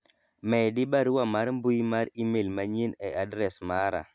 medi barua mar mbui mar email manyien e adres mara